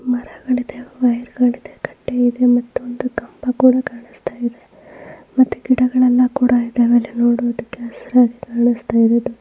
ಮರಗಳಿದೆ ವೈರ್ ಗಳು ಇದೆ ತಟ್ಟೆ ಇದೆ. ಮತ್ತೊಂದು ಕಂಬ ಕೂಡ ಕಾಣುಸ್ತಾಯಿದೆ ಮತ್ತೆ ಗಿಡಗಳೆಲ್ಲ ಕೂಡ ಇದೆ. ಇಲ್ಲಿ ನೋಡುವುದಕ್ಕೆ ಹಸಿರಾಗಿ ಕಾಣುಸ್ತಾಯಿದಾವೆ.